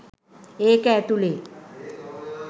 ඒක ඇතුලේ